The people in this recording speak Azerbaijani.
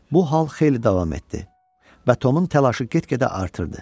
Bu hal xeyli davam etdi və Tomun təlaşı get-gedə artırdı.